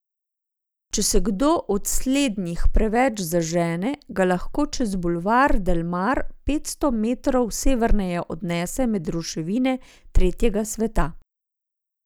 Če se kdo od slednjih preveč zažene, ga lahko čez bulvar Delmar petsto metrov severneje odnese med ruševine tretjega sveta.